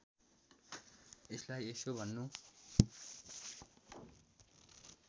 यसलाई यसो भन्नु